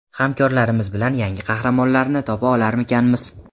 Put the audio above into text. hamkorlarimiz bilan yangi qahramonlarni topa olarmikanmiz.